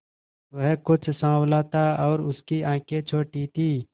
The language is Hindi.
वह कुछ साँवला था और उसकी आंखें छोटी थीं